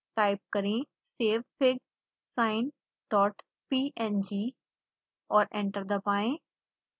type करें savefigsinepng और enter दबाएं